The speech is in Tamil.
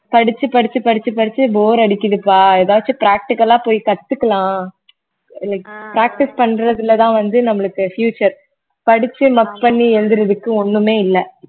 படிச்சு படிச்சு படிச்சு படிச்சு bore அடிக்குதுப்பா எதாச்சும் practical ஆ போய் கத்துக்கலாம் like practice பண்றதுலதான் வந்து நம்மளுக்கு future படிச்சு பண்ணி எழுதுறதுக்கு ஒண்ணுமே இல்லை